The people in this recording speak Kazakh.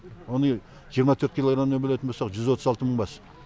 оны жиырма төрт килограммнан бөлетін болсақ жүз отыз алты мың бас